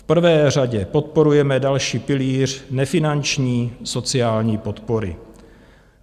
V prvé řadě podporujeme další pilíř nefinanční sociální podpory.